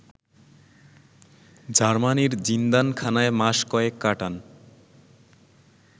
জার্মানির জিন্দানখানায় মাস কয়েক কাটান